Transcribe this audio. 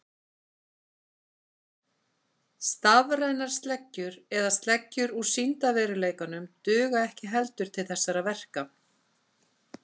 Stafrænar sleggjur eða sleggjur úr sýndarveruleikanum duga ekki heldur til þessara verka.